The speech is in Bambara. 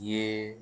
I ye